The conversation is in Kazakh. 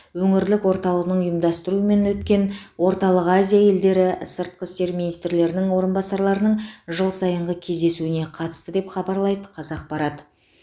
өңірлік орталығының ұйымдастыруымен өткен орталық азия елдері сыртқы істер министрлерінің орынбасарларының жыл сайынғы кездесуіне қатысты деп хабарлайды қазақпарат